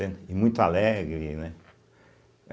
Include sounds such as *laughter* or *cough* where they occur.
*unintelligible* E muito alegre, né?